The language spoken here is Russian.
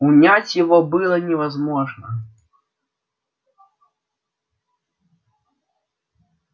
унять его было невозможно